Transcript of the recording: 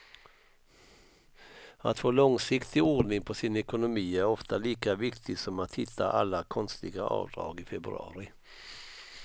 Att få långsiktig ordning på sin ekonomi är ofta lika viktigt som att hitta alla konstiga avdrag i februari.